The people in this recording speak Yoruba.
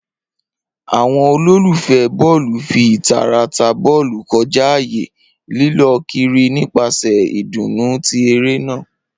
Awọn ololufẹ bọọlu fi itara ta bọọlu kọja aaye, lilọ kiri nipasẹ idunnu ti ere naa.